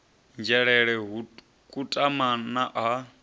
nzhelele ha kutama na ha